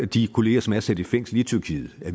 de kollegaer som er sat i fængsel i tyrkiet at